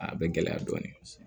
A bɛ gɛlɛya dɔɔnin